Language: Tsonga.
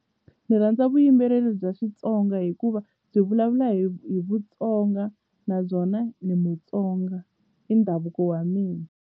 Ni rhandza vuyimbeleri bya Xitsonga hikuva byi vulavula hi hi Vutsonga nabyona ni Mutsonga i ndhavuko wa mina.